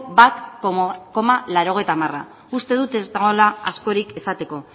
bat koma laurogeita hamara uste dut ez dagoela askorik esateko